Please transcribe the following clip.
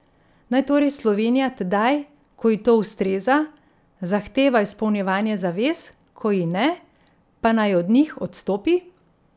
Naj torej Slovenija tedaj, ko ji to ustreza, zahteva izpolnjevanje zavez, ko ji ne, pa naj od njih odstopi?